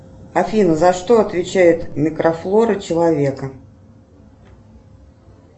афина за что отвечает микрофлора человека